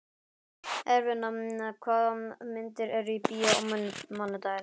Eirfinna, hvaða myndir eru í bíó á mánudaginn?